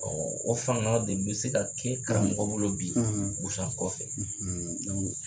o fanga de bɛ se ka kɛ karamɔgɔ bolo bi busan kɔfɛ.